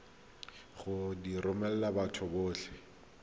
go di romela batho botlhe